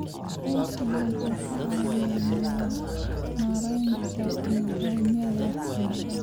Aqoonsigu wuxuu ka caawiyaa maaraynta nidaamyada waxbarashada.